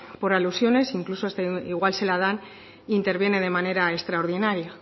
por alusiones e incluso igual se la dan e intervienen de manera extraordinaria